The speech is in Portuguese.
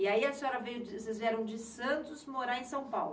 E aí a senhora veio, vocês vieram de Santos morar em São Paulo?